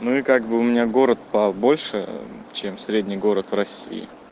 ну и как бы у меня город побольше чем средний город в россии